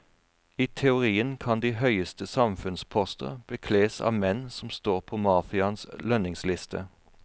I teorien kan de høyeste samfunnsposter bekles av menn som står på mafiaens lønningsliste.